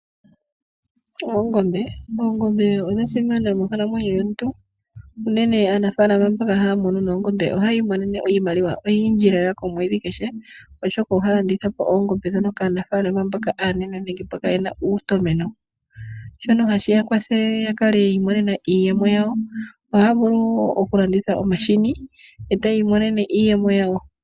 Oongombe. Oongombe odha simana monkalamwenyo yomuntu. Unene aanafalama mboka haya munu noongobe ohayi imonene iimaliwa oyindji lela komwedhi kehe, oshoka ohaya landitha po oongombe ndhoka kaanafaalama aanene nenge mboka ye na uutomeno, shono hashi ya kwathele ya kale yiimonena iiyemo yawo. Ohaya vulu wo okulanditha omahini, eta ya imonene iiyemo yawo.